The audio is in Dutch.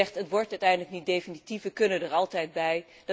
U zegt, het wordt uiteindelijk niet definitief, we kunnen er altijd bij.